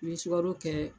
N'i ye sukaro kɛ